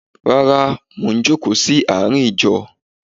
Rárá, mò ń jókòó sí àárín ìjọ.